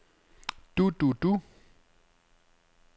du du du